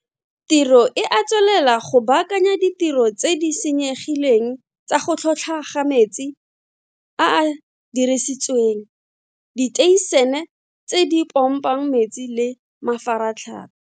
Tiro e a tswelela go baakanya ditiro tse di senyegileng tsa go tlhotlhwa ga metsi a a dirisitsweng, diteišene tse di pompang metsi le mafaratlha.